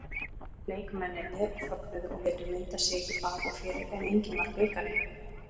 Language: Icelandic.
Leikmennirnir fögnuðu og létu mynda sig í bak og fyrir en enginn var bikarinn.